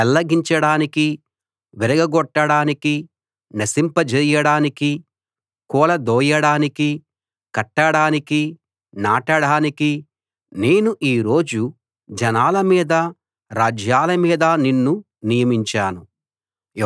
పెళ్లగించడానికీ విరగగొట్టడానికీ నశింపజేయడానికీ కూలదోయడానికీ కట్టడానికీ నాటడానికీ నేను ఈ రోజు జనాల మీదా రాజ్యాల మీదా నిన్ను నియమించాను